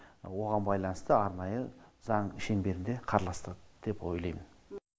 оған байланысты арнайы заң шеңберінде қарастырылды деп ойлайм